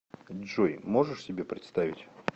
джой можешь себе представить